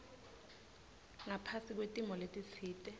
ngaphasi kwetimo letitsite